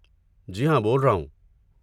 جی ہاں، بول رہا ہوں۔